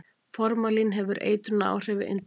Formalín hefur eitrunaráhrif við inntöku.